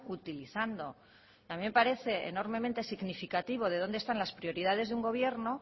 utilizando a mí me parece enormemente significativo de dónde están las prioridades de un gobierno